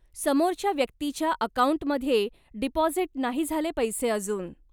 समोरच्या व्यक्तीच्या अकाऊंटमध्ये डिपॉझिट नाही झाले पैसे अजून.